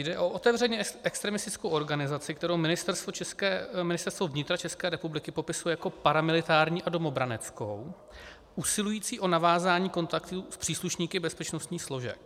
Jde o otevřeně extremistickou organizaci, kterou Ministerstvo vnitra České republiky popisuje jako paramilitární a domobraneckou, usilující o navázání kontaktů s příslušníky bezpečnostních složek.